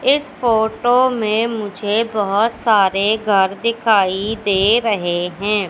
इस फोटो में मुझे बहुत सारे घर दिखाई दे रहे हैं।